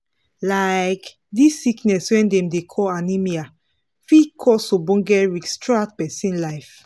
like this sickness wey dem dey call anemia fit cause ogboge risk throughout persin life